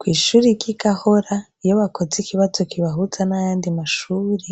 Kwishuri ry' igahora iyo bakoze ikibazo kibahuza n' ayandi mashure